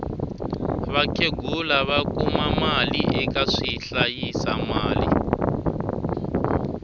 vakhegula va kuma mali eka swi hlayisa mali